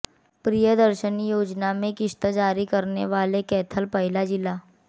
प्रियदर्शनी योजना में किश्त जारी करने वाले कैथल पहला जिला